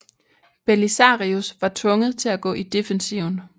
Belisarius var tvunget til at gå i defensiven